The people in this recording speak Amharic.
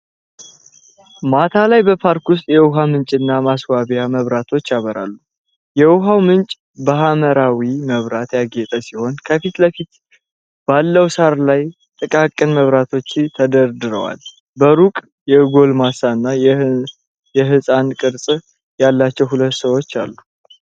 ማታ ላይ በፓርክ ውስጥ የውሃ ምንጭና ማስዋቢያ መብራቶች ያበራሉ። የውሃው ምንጭ በሐምራዊ መብራት ያጌጠ ሲሆን ከፊት ለፊት ባለው ሣር ላይ ጥቃቅን መብራቶች ተደርድረዋል። በሩቅ የጎልማሳና የሕፃን ቅርጽ ያላቸው ሁለት ሰዎች አሉ።